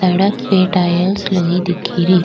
सड़क पे टाइल्स लगी दिख री।